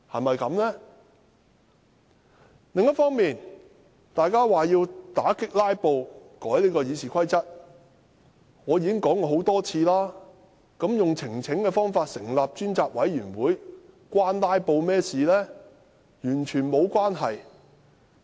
當建制派指要為打擊"拉布"而修訂《議事規則》，我已多次質疑，以提交呈請書的方式成立專責委員會與"拉布"有何關連。